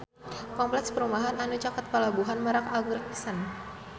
Kompleks perumahan anu caket Pelabuhan Merak agreng pisan